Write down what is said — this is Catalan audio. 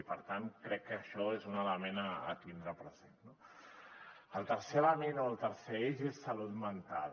i per tant crec que això és un element a tindre present no el tercer element o el tercer eix és salut mental